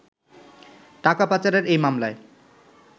টাকা পাচারের এই মামলায়